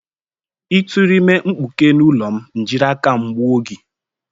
Ị tụrụ ime mkpuke n'ụlọ m, m jiri aka m gbuo gị!